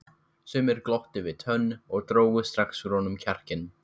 Sumir glottu við tönn og drógu strax úr honum kjarkinn.